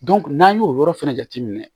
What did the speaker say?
n'an y'o yɔrɔ fɛnɛ jateminɛ